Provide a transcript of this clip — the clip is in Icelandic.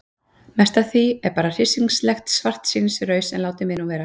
Mest af því er bara hryssingslegt svartsýnisraus en látið mig nú vera.